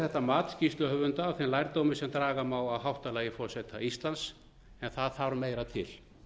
þetta mat skýrsluhöfunda af þeim lærdómi sem draga má af háttalagi forseta íslands en það þarf meira til